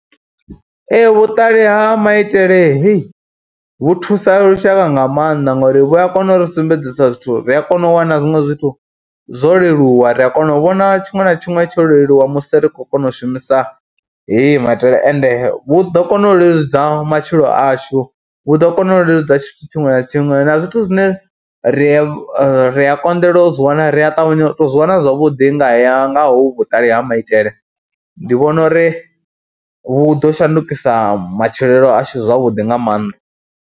Ee vhuṱali ha maitele hei vhu thusa lushaka nga maanḓa ngori vhu a kona uri sumbedzisa zwithu, ri a kona u wana zwiṅwe zwithu zwo leluwa, ri a kona u vhona tshiṅwe na tshiṅwe tsho leluwa musi ri khou kona u shumisa hei maitele ende vhu ḓo kona u leludza matshilo ashu, vhu ḓo kona u leludza tshithu tshiṅwe na tshiṅwe na zwithu zwine ri a ri a konḓelwa u zwi wana ri a ṱavhanya u tou zwi wana zwavhuḓi nga haya, nga hovhu vhuṱali ha maitele. Ndi vhona uri vhu ḓo shandukisa matshilelo ashu zwavhuḓi nga maanḓa.